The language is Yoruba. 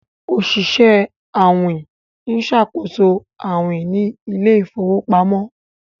Oṣiṣẹ awin nṣakoso awin ní Ilé ìfowópamọ́